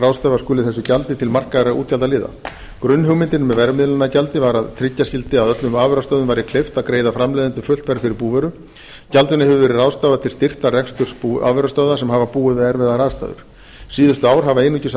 ráðstafa skuli þessu gjaldi til markaðra útgjaldaliða grunnhugmyndin með verðmiðlunargjaldi var að tryggja skyldi að öllum afurðastöðvum væri kleift að greiða framleiðendum fullt verð fyrir búvöru gjaldinu hefur verið ráðstafað til styrktar reksturs afurðastöðva sem hafa búið við erfiðar aðstæður síðustu ár hafa einungis